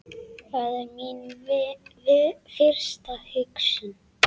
Það er mín fyrsta hugsun.